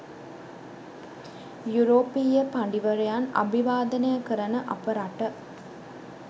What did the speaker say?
යුරෝපීය පඬිවරයන් අභිවාදනය කරන අප රට